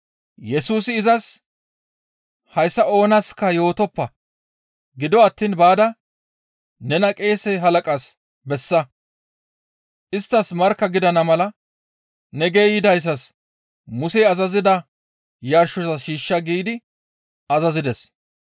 Yesusi izas, «Hayssa oonaska yootoppa; gido attiin baada nena qeese halaqas bessa; isttas markka gidana mala ne geeyidayssas Musey azazida yarshoza shiishsha» giidi azazides.